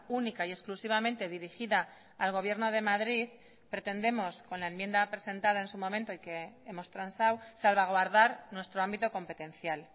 única y exclusivamente dirigida al gobierno de madrid pretendemos con la enmienda presentada en su momento y que hemos transado salvaguardar nuestro ámbito competencial